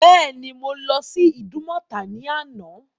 Bẹ́ẹ̀ ni, Mo lọ́ sí Ìdúmọ̀tà ní àná.